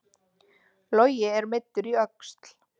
Logi er meiddur í öxl